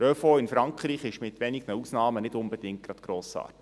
Der ÖV in Frankreich ist mit wenigen Ausnahmen nicht unbedingt gerade grossartig.